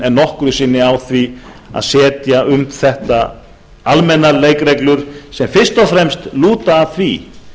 en nokkru sinni á því að setja um þetta almennar leikreglur sem fyrst og fremst lúta að því